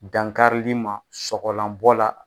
Dankarili ma sɔgɔlanbɔ la.